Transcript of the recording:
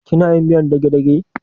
Kina yin miyar dagedage?